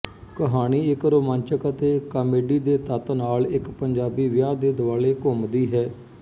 ਕਹਾਣੀ ਇਕ ਰੋਮਾਂਚਕ ਅਤੇ ਕਾਮੇਡੀ ਦੇ ਤੱਤ ਨਾਲ ਇਕ ਪੰਜਾਬੀ ਵਿਆਹ ਦੇ ਦੁਆਲੇ ਘੁੰਮਦੀ ਹੈ